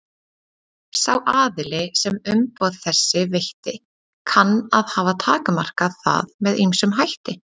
Sá aðili sem umboð þessi veitti kann að hafa takmarkað það með ýmsum hætti.